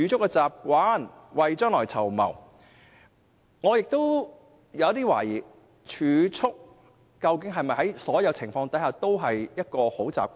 我對此抱有懷疑，究竟儲蓄是否在所有情況下也是一種好習慣？